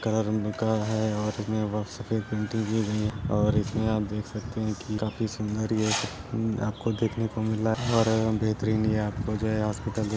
काला रंग का है और इसमें सफ़ेद रंग की गई है और इसमें आप देख सकते हैं की काफी सुन्दर देखने को मिला है।